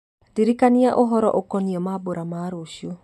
ndirikania ũhoro ũkoniĩ mambura ma rũciũ